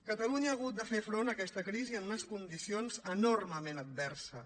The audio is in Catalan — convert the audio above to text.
catalunya ha hagut de fer front a aquesta crisi en unes condicions enormement adverses